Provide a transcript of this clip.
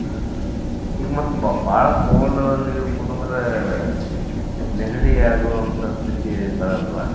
ಹಾ ಹಾ ಈಗ ಮತ್ತ್ ಬಾಳ cold ನೀರ್ ಕುಡಿದ್ರೆ ನೆಗಡಿ ಆಗೋವಂತಾ ಸ್ಥಿತಿ ಬರಲ್ವಾ?